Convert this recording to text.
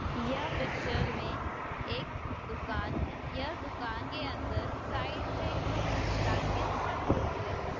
यह पिच्चर में एक दुकान है यह दुकान के अंदर साइड में कुछ ब्लैंकेट्स रखे हुए है।